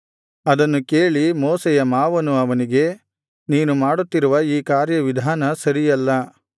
ಅದನ್ನು ಕೇಳಿ ಮೋಶೆಯ ಮಾವನು ಅವನಿಗೆ ನೀನು ಮಾಡುತ್ತಿರುವ ಈ ಕಾರ್ಯವಿಧಾನ ಸರಿಯಲ್ಲ